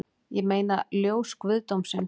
Ég meina ljós guðdómsins